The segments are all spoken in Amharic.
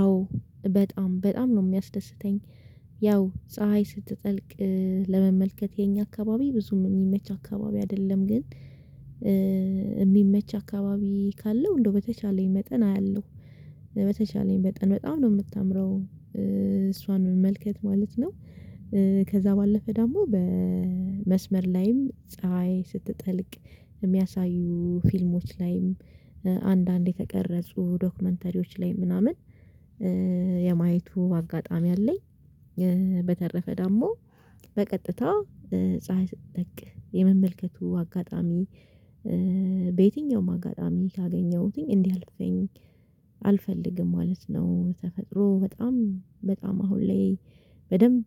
አዎ በጣም በጣም ነው የሚያስደስተኝ። ያው ፀሀይ ስትጠልቅ ለመመልከት የኛ አካባቢ ብዙም የሚመች አካባቢ አይደለም ግን የሚመች አካባቢ ካለው እንደው በተቻለኝ መጠን አያለሁ። በተቻለኝ መጠን በጣም ነው የምታምረው እሷን መመልከት ማለት ነው። ከዛ ባለፈ ደግሞ በመስመር ላይም ፀሀይ ስትጠልቅ የሚያሳዩ ፊልሞች ላይም አንዳንዴ የተቀረጹ ዶክመንተሪዎች ላይ ምናምን የማየቱ አጋጣሚ አለኝ። በተረፈ ደግሞ በቀጥታ ፀሀይ ስትጠልቅ የመመልከቱ አጋጣሚ። በየትኛውም አጋጣሚ ካገኘሁትኝ እንዲህ አልፈልግም ማለት ነው። ተፈጥሮ በጣም በጣም አሁን ላይ በደንብ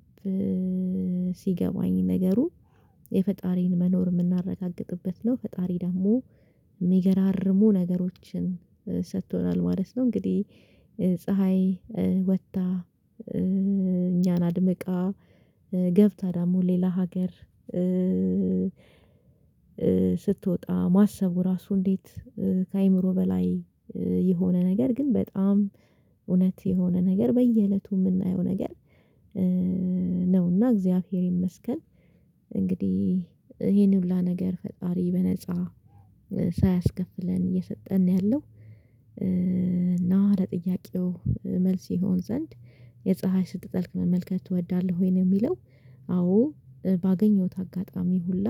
ሲገባኝ ነገሩ የፈጣሪን መኖር የምናረጋግጥበት ነው ፈጣሪ ደግሞ የሚገራርሙ ነገሮችን ሰጥቶናል ማለት ነው። እንግዲህ ፀሀይ ወጥታ እኛን አድምቃ ገብታ ደግሞ ሌላ ሀገር ስትወጣ ማሰቡ ራሱ እንዴት ከአእምሮ በላይ የሆነ ነገር ግን በጣም እውነት የሆነ ነገር በየእለቱ የምናየው ነገር። እግዚአብሔር ይመስገን። እንግዲህ ይሄን ሁሉ ነገር ፈጣሪ በነፃ ሳያስከፍለን እየሰጠን ነው ያለው። እና ለጥያቄው መልስ ይሆን ዘንድ የፀሀይ ስትጠልቅ መመልከት ትወዳለህ ወይንም የሚለው? አዎ ባገኘሁት አጋጣሚ ሁላ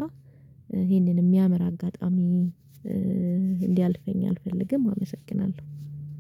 ይሄንን የሚያምር አጋጣሚ እንዲያልፈኝ አልፈልግም። አመሰግናለሁ